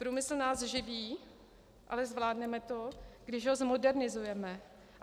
Průmysl nás živí, ale zvládneme to, když ho zmodernizujeme.